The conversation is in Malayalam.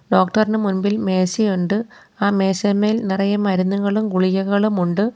ഡോക്ടർ ഇന് മുൻപിൽ മേശ ഉണ്ട് ആ മേശമേൽ നിറയെ മരുന്നുകളും ഗുളികകളും ഉണ്ട്.